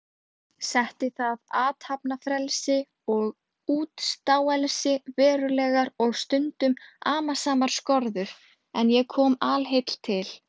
Setti það athafnafrelsi og útstáelsi verulegar og stundum amasamar skorður, en ég kom alheill til